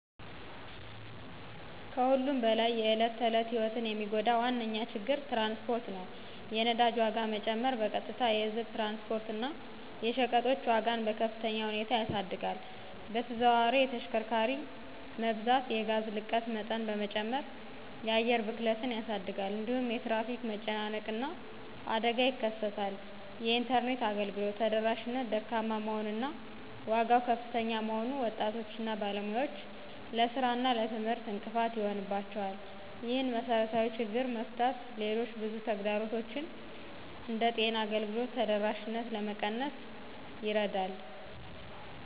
ከሁሉም በላይ የዕለት ተዕለት ሕይወትን የሚጎዳ ዋነኛ ችግር ትራንስፖርት ነው። የነዳጅ ዋጋ መጨመር በቀጥታ የህዝብ ትራንስፖርት እና የሸቀጦች ዋጋን በከፍተኛ ሁኔታ ያሳድጋል። በተዘዋዋሪ የተሽከርካሪ መብዛት የጋዝ ልቀት መጠን በመጨመር የአየር ብክለትን ያሳድጋል። እንዲሁም የትራፊክ መጨናነቅ እና አደጋ ይከሰታል። የኢንተርኔት አገልግሎት ተደራሽነት ደካማ መሆን እና ዋጋው ከፍተኛ መሆኑን ወጣቶች እና ባለሙያዎች ለሥራ እና ለትምህርት እንቅፋት ይሆንባቸዋል። ይህንን መሰረታዊ ችግር መፍታት ሌሎች ብዙ ተግዳሮቶችን እንደ ጤና አገልግሎት ተደራሽነት ለመቀነስ ይረዳል።